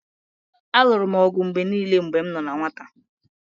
Alụrụ m ọgụ mgbe niile mgbe m nọ na nwata